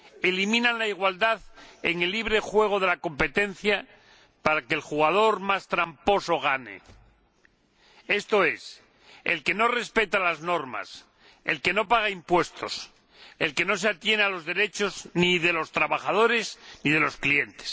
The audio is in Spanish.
Eliminan la igualdad en el libre juego de la competencia para que el jugador más tramposo gane, esto es, el que no respeta las normas, el que no paga impuestos, el que no se atiene a los derechos ni de los trabajadores ni de los clientes.